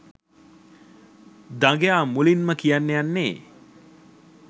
දඟයා මුලින්ම කියන්න යන්නේ